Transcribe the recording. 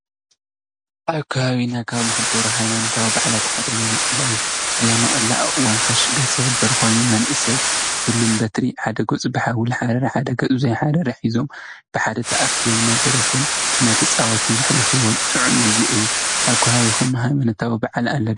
ኣብ ከባቢና ካብ ዝክበር ሃይማኖታዊ በዓላት ሓደ ኣያናቅላ እዩ፡፡ ኣብ ኣያናቅላ እዋን ፋሲጋ ዝክበር ኮይኑ መንእሰይ ሽሉም በትሪ ብሓደ ገፁ ብሓዊ ዝሓረረ ብሓደ ገፁ ዘይሓረረ ሒዞም ብሓደ ተኣኪቦም እናደረፉን እናተፃወቱን ዘሕልፍዎ ጥዑም ግዜ እዩ፡፡ ኣብ ከባቢኩም ሃይማኖታዊ በዓል ኣለዉ ዶ?